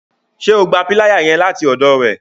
Ṣe o gbà piláyà yẹn láti ọdọ rẹ?